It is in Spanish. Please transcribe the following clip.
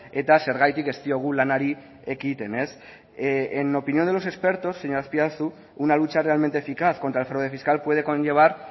eta zergatik ez diogu lanari ekiten en opinión de los expertos señor azpiazu una lucha realmente eficaz contra el fraude fiscal puede conllevar